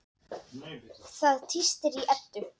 Það tístir í Eddu.